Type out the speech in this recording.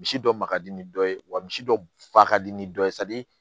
Misi dɔ ma ka di ni dɔ ye wa misi dɔ ba ka di ni dɔ ye